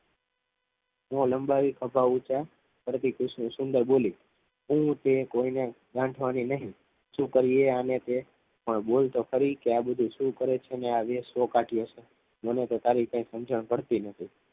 એમાં લંબાવી ખભા ઊંચા કરી કુસુમ બોલી હું તે કોઈને ગાંઠવાની નથી શું કરીએ આને તે પણ બોલ તો ખરી આ બધુ શું કરે છે અને શેનો વેશ કાઢ્યો છે મને તો તારી કંઈ સમજણ પડતી નથી